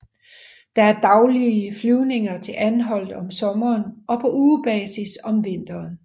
Der er daglige flyvninger til Anholt om sommeren og på ugebasis om vinteren